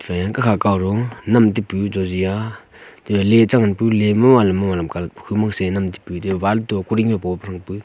fe kakha kawro nam taipu jojia te le chengan pu le malam malam colah khomo senam taipu re wall to kuring bopa rangpu.